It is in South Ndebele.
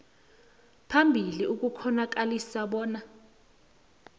phambili ukukghonakalisa bona